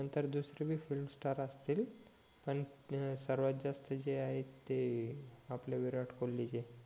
नंतर दुसरे बी फ्लिम स्टार असतील पण सर्वात जास्त जे आहे ते आपले विराट कोहलीच ये